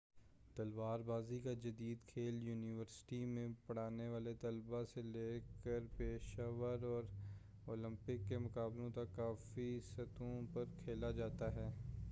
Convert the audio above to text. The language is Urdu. تلوار بازی کا جدید کھیل یونیورسٹی میں پڑھنے والے طلبہ سے لے کر پیشہ ور اور اولمپک کے مقابلوں تک کافی سطحوں پر کھیلا جاتا ہے